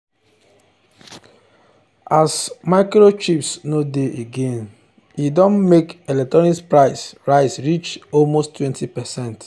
as microchips no dey again e don make electronics price rise reach almost 20%.